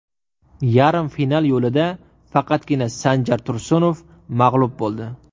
Yarim final yo‘lida faqatgina Sanjar Tursunov mag‘lub bo‘ldi.